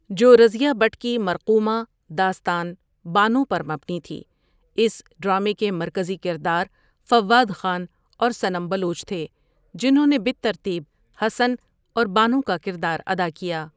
جو رضیہ بٹ کی مرقُومہ داستان بانو پر مبنی تھی اس ڈرامے کے مرکزی کردار فوّاد خان اور صنم بلوچ تھے جنھوں نے بالترتیب حسن اور بانو کا کردار ادا کیا۔